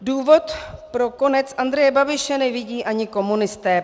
Důvod pro konec Andreje Babiše nevidí ani komunisté.